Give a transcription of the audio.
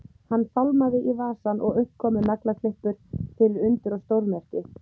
Ekki þurfti annað en kippa í þá til að sjórinn flæddi inn.